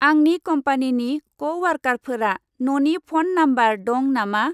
आंनि कम्पानिनि क'वार्कारफोरा न'नि फन नाम्बार दं नामा?